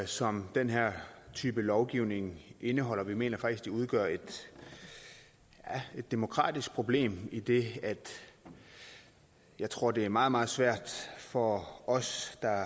som den her type lovgivning indeholder vi mener faktisk at det udgør et demokratisk problem idet jeg tror det er meget meget svært for os der